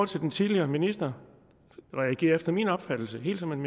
til den tidligere minister reagerede han efter min opfattelse helt som en